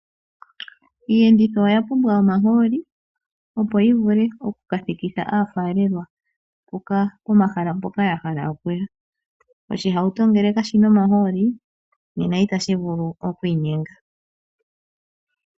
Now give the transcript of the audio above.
Iiyenditho oya pumbwa omahooli, opo yi vule oku ka thikitha aafalelwa, pomahala mboka ya hala okuya. Oshihauto ngele kashina omahooli, nena ita shi vulu okwiinyenga.